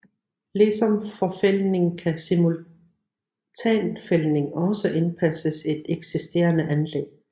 Ligesom forfældning kan simultanfældning også indpasses i et eksisterende anlæg